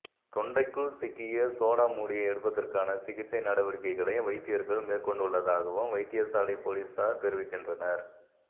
தொண்டைக்குள் சிக்கிய சோடா மூடியை எடுப்பதற்கான சிகிச்சை நடவடிக்கைகளை வைத்தியர்கள் மேற்கொண்டுள்ளதாகவும் வைத்தியசாலை பொலிஸார் தெரிவிக்கின்றனர்